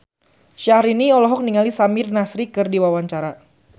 Syahrini olohok ningali Samir Nasri keur diwawancara